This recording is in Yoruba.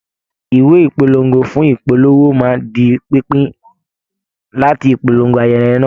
Ìwé ìpolongo fún ìpolówó má di pínpín láti polongo ayẹyẹ náà